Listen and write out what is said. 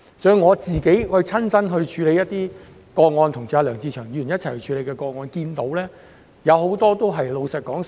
從我親身處理的個案，以及我跟梁志祥議員一同處理的個案所見，寮屋居民都是老人家。